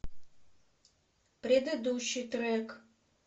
предыдущий трек